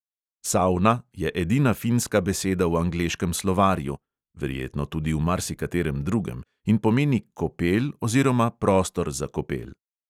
"Savna" je edina finska beseda v angleškem slovarju (verjetno tudi v marsikaterem drugem) in pomeni kopel oziroma prostor za kopel.